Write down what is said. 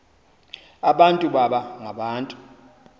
abantu baba ngabantu